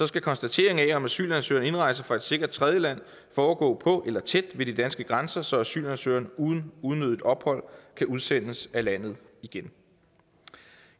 skal konstateringen af om asylansøgeren indrejser fra et sikkert tredjeland foregå på eller tæt ved de danske grænser så asylansøgeren uden unødigt ophold kan udsendes af landet igen